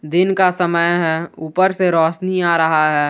दिन का समय है ऊपर से रोशनी आ रहा है।